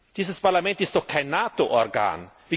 Dieses Parlament ist doch kein NATO Organ.